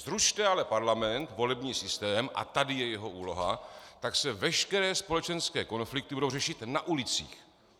Zrušte ale parlament, volební systém - a tady je jeho úloha -, tak se veškeré společenské konflikty budou řešit na ulicích.